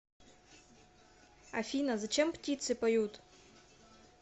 афина зачем птицы поют